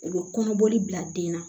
U bɛ kɔnɔbɔli bila den na